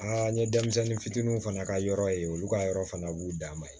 Aa n ye denmisɛnnin fitininw fana ka yɔrɔ ye olu ka yɔrɔ fana b'u dan ma